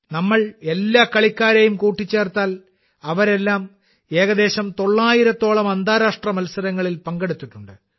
നമ്മൾ എല്ലാ കളിക്കാരെയും കൂട്ടിച്ചേർത്താൽ അവരെല്ലാം ഏകദേശം തൊള്ളായിരത്തോളം അന്താരാഷ്ട്ര മത്സരങ്ങളിൽ പങ്കെടുത്തിട്ടുണ്ട്